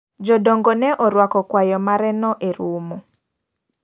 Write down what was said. Jodongo ne orwako kwayo mare no e romo.